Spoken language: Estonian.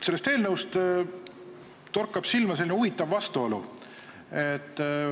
Sellest eelnõust torkab silma huvitav vastuolu.